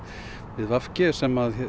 við v g sem